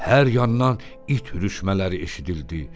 Hər yandan it ürüşmələri eşidildi.